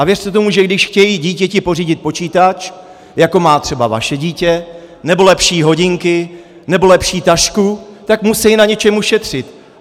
A věřte tomu, že když chtějí dítěti pořídit počítač, jako má třeba vaše dítě, nebo lepší hodinky, nebo lepší tašku, tak musí na něčem ušetřit!